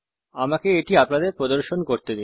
আমাকে এটি আপনাদের প্রদর্শন করতে দিন